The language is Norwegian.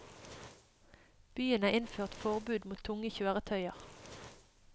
Byen har innført forbud mot tunge kjøretøyer.